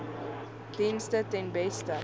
dienste ten beste